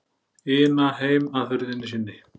ina heim að hurðinni sinni.